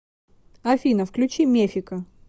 афина включи мефика